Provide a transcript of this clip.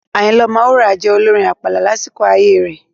Ayinla Omowura jẹ́ olorin àpàlà lásìkò ayé rẹ̀.